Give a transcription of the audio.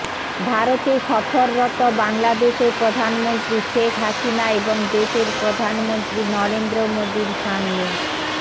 ভারতে সফররত বাংলাদেশের প্রধানমন্ত্রী শেখ হাসিনা এবং দেশের প্রধানমন্ত্রী নরেন্দ্র মোদীর সামনে